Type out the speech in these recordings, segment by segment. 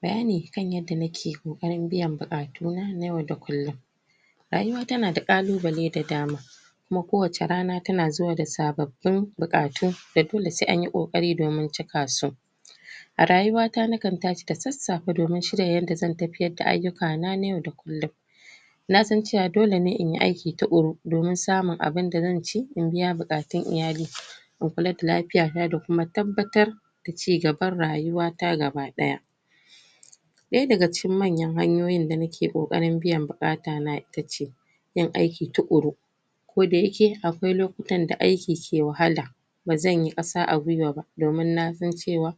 Bayani kan yadda nake koƙarin biyan buƙatuna na yau da kullum rayuwa tana da kalubale da dama kuma ko wacca rana tana zuwa da sabbabin buƙatu da dolle se anyi kokari domin cikasu a rayuwata nakan tashi da sasafe domin shirya yadda zan tafiyar da ayyukana na yau da kullum nasan cewa dolene inyi aiki tukuru domin samun abun da zan ci, in biya buƙatun iyali in kula da lafiyana da kuma tabbatar da cigaban rayuwata gabadaya ɗaya daga cikin manyan hanyoyin da nake koƙarin biyan buƙatana itace yin aiki tuƙuru ko dayake akwai lokutan da aiki ke wahala bazanyi ƙasa a gwiwa ba domin nasan cewa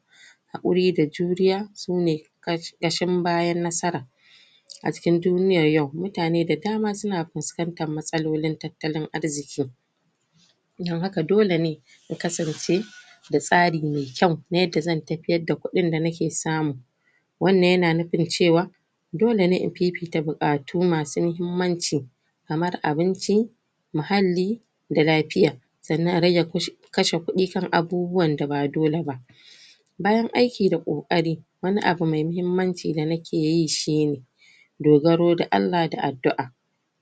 hakuri da juriya, sune ƙashin bayan nasara a cikin duniyan yau, muatane da dama suna fuskantan matsalolin tattalin arziki dan haka dolene ya kasance da tsari me kyau, na yanda zan tafiyar da kuɗin da nake samu wannan yana nufin cewa dolene in fifita buƙatu masu mahimmanci kamar abinci muhalli da lafiya sannan a rage kashe kuɗi kan abubuwan da ba dole ba bayan aiki da koƙari wani abu me mahimmanci da nake yi shine dogaro da Allah da addu'a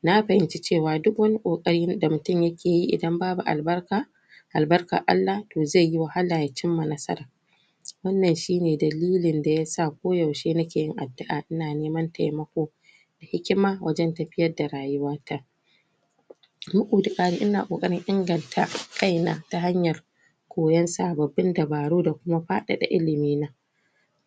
na fahimci cewa duk wani koƙari da mutum yake yi, idan babu albarka albarkan Allah, toh ze yi wahala ya cimma nasara wannan shine dalili da yasa ko yaushe nake yin addu'a ina neman taimakon hikima wajan tafiyar da rayuwata bugu da ƙari ina koƙarin inganta kaina ta hanyar koyan sabbabin dabaru da kuma faɗar da ilimina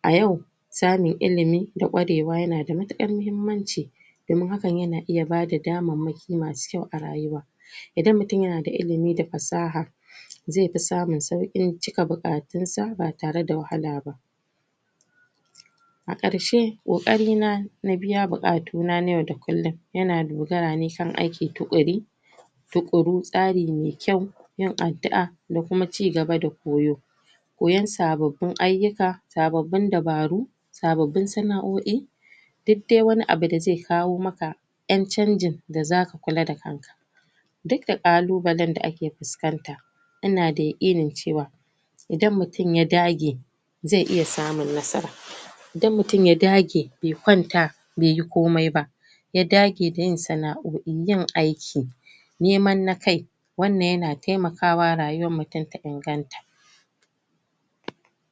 a yau samun ilimi da ƙwarewa yana da mutukar muhimmanci domin hakan yana iya bada damamaki masu kyau a rayuwa idan mutum yana da ilimi da fassaha ze fi samun sauƙin cika buƙatunsa ba tare da wahala ba a ƙarshe koƙarina na biya buƙatuna na yau da kullum yana dogara ne kan aiki tuƙuri tuƙuru tsari me kyau yin addu'a da kuma cigaba da koyo koyan sabbabin ayyuka, sabbabin dabaru sababin sana'aoi duk de wani abu da ze kawo maka ƴan canjin da zaka kula da kanka duk da kalubale da ake fuskanta ana da irin cewa idan mutum ya dage ze iya samun nasara idan mutum ya dage, be kwanta be yi komai ba ya dage da yin sana'aoi, yin aiki naman na kai wannan yana taimakawa rayuwan mutum ta inganta.